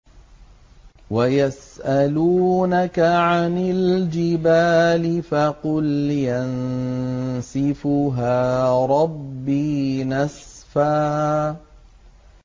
وَيَسْأَلُونَكَ عَنِ الْجِبَالِ فَقُلْ يَنسِفُهَا رَبِّي نَسْفًا